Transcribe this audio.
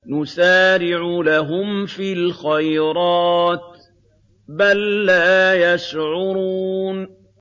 نُسَارِعُ لَهُمْ فِي الْخَيْرَاتِ ۚ بَل لَّا يَشْعُرُونَ